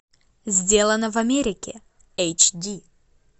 сделано в америке эйч ди